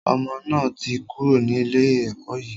Ọmọ náà ti kúrò ní ilé ẹkọ́ yìí.